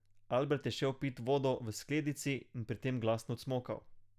Albert je šel pit vodo v skledici in pri tem glasno cmokal.